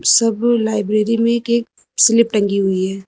सब लाइब्रेरी में एक एक स्लिप टंगी हुई है।